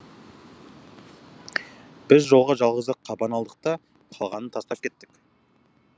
біз жолға жалғыз ақ қабан алдық та қалғанын тастап кеттік